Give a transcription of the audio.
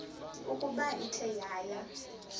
ukuba ithe yaya